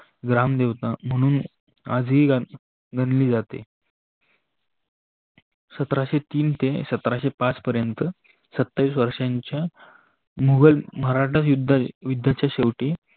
रामदेवता म्हणून आजही मानली जाते. शतराशे तीन ते शतराशे पाच पर्यंत सत्तावीस वर्षाच्या मुगल मराठा युध्याच्या शेवटी